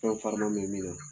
Fɛn farima bɛ min na